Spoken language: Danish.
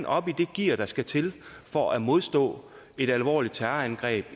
oppe i det gear der skal til for at modstå et alvorligt terrorangreb